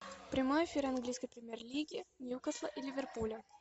прямой эфир английской премьер лиги ньюкасла и ливерпуля